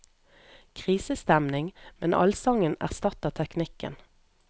Krisestemning, men allsangen erstatter teknikken.